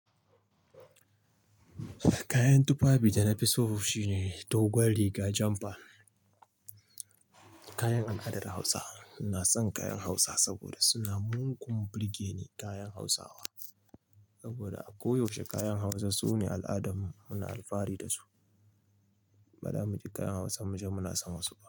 Kayan tufafi da na fi so shine dogon riga jampa. Kayan al'adar Hausa. Ina san kayan Hausa saboda suna mugun burge ni kayan Hausawa. Saboda a koyaushe kayan Hausa sune al'adarmu, muna alfahari da su. Bara muki kayan Hausa, muje muna san wasu ba.